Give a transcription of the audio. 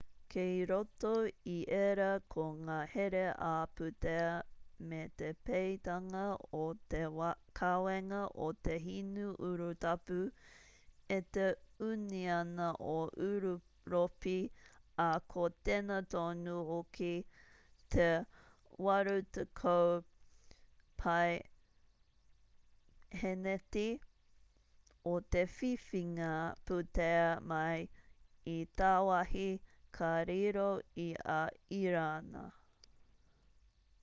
kei roto i ērā ko ngā here ā-pūtea me te peitanga o te kawenga o te hinu urutapu e te ūniana o ūropi ā ko tēnā tonu hoki te 80% o te whiwhinga pūtea mai i tāwāhi ka riro i a irāna